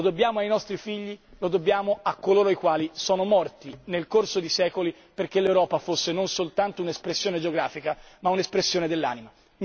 Lo dobbiamo ai nostri figli, lo dobbiamo a coloro i quali sono morti nel corso di secoli perché l'Europa fosse non soltanto un'espressione geografica ma un'espressione dell'anima.